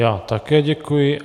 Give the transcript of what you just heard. Já také děkuji.